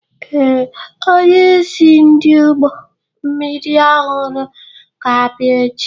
Ee, onyeisi ndị ụgbọ mmiri ọhụrụ ga-abịa echi.